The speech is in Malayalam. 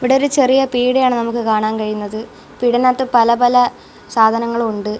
ഇവിടെ ഒരു ചെറിയ പീട്യയാണ് നമുക്ക് കാണാൻ കഴിയുന്നത് പീട്യനകത്ത് പല പല സാധനങ്ങളും ഉണ്ട്.